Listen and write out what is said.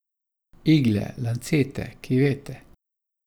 Igle, lancete, kivete.